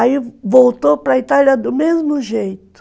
Aí voltou para Itália do mesmo jeito.